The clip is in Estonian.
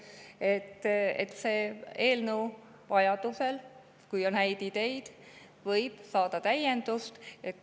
Kui on häid ideid, võib see eelnõu vajaduse korral täiendust saada.